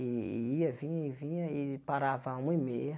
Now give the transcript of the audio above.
E ia, vinha e vinha e parava uma e meia.